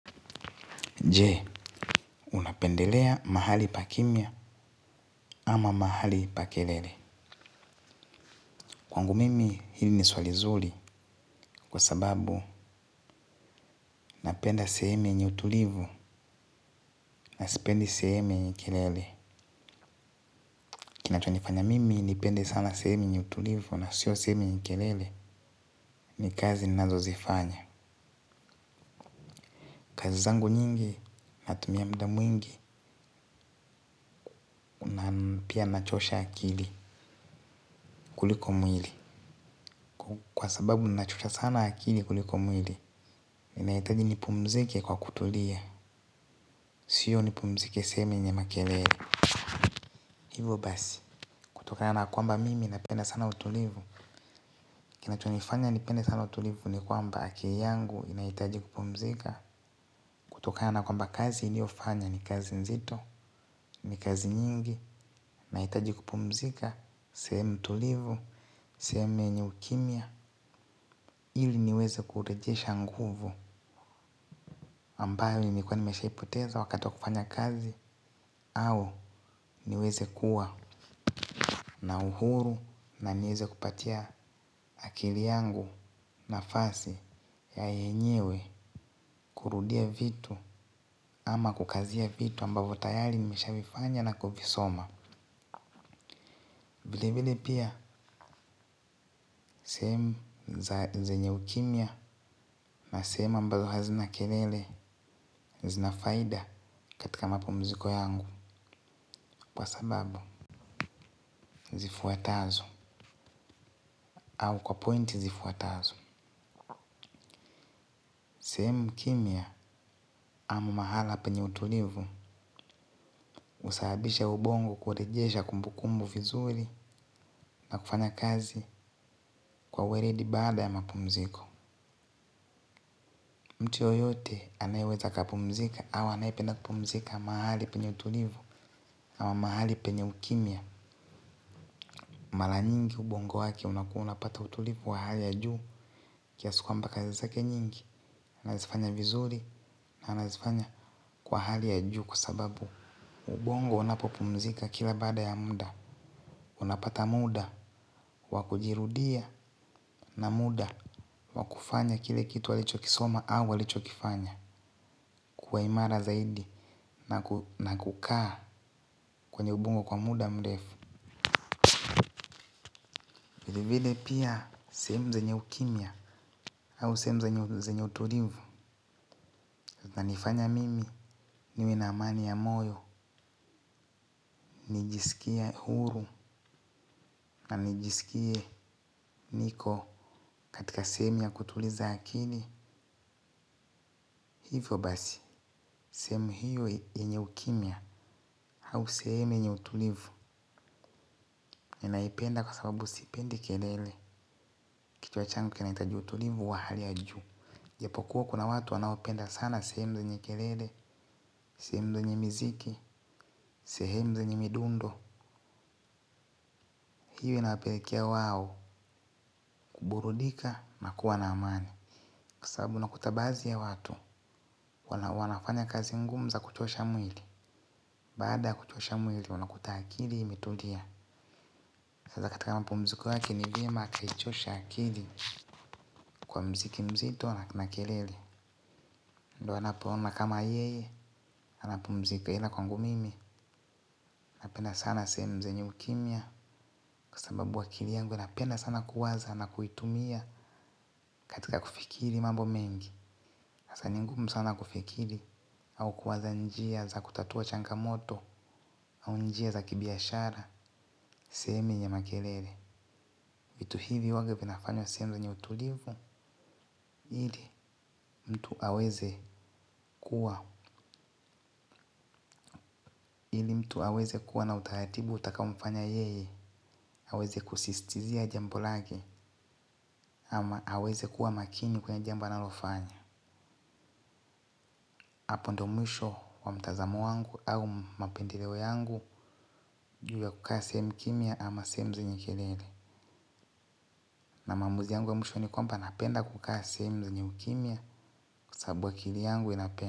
Je, unapendelea mahali pa kimya? Ama mahali pa kelele. Kwangu mimi hili ni swali zuri kwa sababu napenda sehemu yenye utulivu na sipendi sehemu yenye kelele. Kinachonifanya mimi nipende sana sehemu yenye utulivu na sio sehemu yenye kelele ni kazi ninazozifanya. Kazi zangu nyingi natumia muda mwingi. Pia nachosha akili kuliko mwili. Kwa sababu nachosha sana akili kuliko mwili, ninahitaji nipumzike kwa kutulia. Sio nipumzike sehemu yenye makelele. Hivo basi kutokana na kwamba mimi napenda sana utulivu. Kinachonifanya nipende sana utulivu ni kwamba akili yangu inahitaji kupumzika. Kutokana na kwamba kazi niliofanya ni kazi nzito. Ni kazi nyingi nahitaji kupumzika. Sehemu tulivu, sehemu yenye ukimya ili niweze kurejesha nguvu ambayo nilikuwa nimeshaipoteza wakati wa kufanya kazi. Au niweze kuwa na uhuru na nieze kupatia akili yangu nafasi ya yenyewe kurudia vitu ama kukazia vitu ambavyo tayari nimeshavifanya na kuvisoma. Vile vile pia. Sehemu zenye ukimya na sehemu ambazo hazina kelele zina faida katika mapumziko yangu. Kwa sababuzifuatazo au kwa point zifuatazo. Sehemu kimya ama mahala penye utulivu husababisha ubongo kurejesha kumbukumbu vizuri na kufanya kazi kwa weledi baada ya mapumziko. Mtu yoyote anayeweza akapumzika au anayependa kupumzika mahali penye utulivu ama mahali penye ukimya. Mara nyingi ubongo wake unakuwa unapata utulivu wa hali ya juu kiasi kwamba kazi zake nyingi anazifanya vizuri na anazifanya kwa hali ya juu kwa sababu ubongo unapopumzika kila baada ya muda, unapata muda, wa kujirudia na muda, wa kufanya kile kitu alichokisoma au alichokifanya, kwa imara zaidi na kukaa kwenye ubongo kwa muda mrefu. Vilevile pia sehemu zenye ukimya au sehemu zenye utulivu zinanifanya mimi niwe na amani ya moyo, nijisikie huru na nijisikie niko katika sehemu ya kutuliza akili, hivyo basi, sehemu hiyo yenye ukimya au sehemu yenye utulivu. Ninaipenda kwa sababu sipendi kelele kichwa changu kinahitaji utulivu wa hali ya juu. Japo kuwa kuna watu wanaopenda sana sehemu zenye kelele, sehemu zenye miziki, sehemu zenye midundo. Hiyo inawapelekea wao kuburudika na kuwa na amani. Kwa sababu unakuta baadhi ya watu wanafanya kazi ngumu za kuchosha mwili. Baada ya kuchosha mwili wanakuta akili imetulia. Sasa katika mapumziko yake ni vyema akichosha akili kwa mziki mzito na kelele. Ndio anapoona kama yeye, anapumzika. Ila kwangu mimi napenda sana sehemu zenye ukimya kwa sababu akili yangu inapenda sana kuwaza na kuitumia katika kufikiri mambo mengi. Sasa ni ngumu sana kufikiri au kuwaza njia za kutatua changamoto. Au njia za kibiashara sehemu yenye makelele. Vitu hivi huwanga vinafanywa sehemu zenye utulivu ili mtu aweze kuwa mtu aweze kuwa na utaratibu utakaomfanya yeye aweze kusisitizia jambo lake ama aweze kuwa makini kwenye jambo analofanya. Hapo ndio mwisho wa mtazamo wangu au mapendeleo yangu juu ya kukaa sehemu kimya ama sehemu zenye kelele. Na maamuzi yangu ya mwisho ni kwamba napenda kukaa sehemu zenye ukimya kwa sababu akili yangu inapenda.